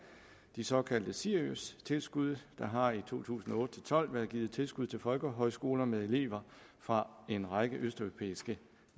de såkaldte ciriustilskud der har i to tusind og otte til tolv været givet tilskud til folkehøjskoler med elever fra en række østeuropæiske